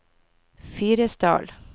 Fyresdal